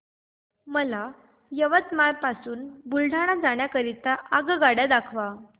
मला यवतमाळ पासून बुलढाणा जाण्या करीता आगगाड्या दाखवा